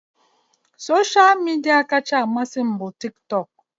Soshal midia kacha amasị m bụ tik tok